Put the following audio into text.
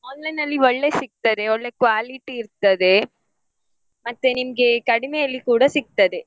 Online ನಲ್ಲಿ ಒಳ್ಳೆ ಸಿಗ್ತದೆ ಒಳ್ಳೆ quality ಇರ್ತದೆ ಮತ್ತೆ ನಿಮ್ಗೆ ಕಡಿಮೆಯಲ್ಲಿ ಕೂಡ ಸಿಗ್ತದೆ.